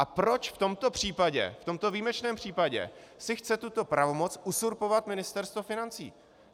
A proč v tomto případě - v tomto výjimečném případě - si chce tuto pravomoc uzurpovat Ministerstvo financí?